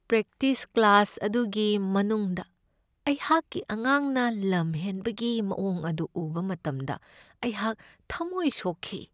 Practice class ꯑꯗꯨꯒꯤ ꯃꯅꯨꯡꯗ ꯑꯩꯍꯥꯛꯀꯤ ꯑꯉꯥꯡꯅ ꯂꯝ ꯍꯦꯟꯕꯒꯤ ꯃꯋꯣꯡ ꯑꯗꯨ ꯎꯕ ꯃꯇꯝꯗ ꯑꯩꯍꯥꯛ ꯊꯝꯃꯣꯏ ꯁꯣꯛꯈꯤ ꯫